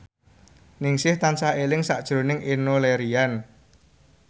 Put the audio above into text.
Ningsih tansah eling sakjroning Enno Lerian